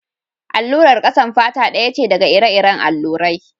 Allurar ƙasan fata ɗaya ce daga ire-iren allurai.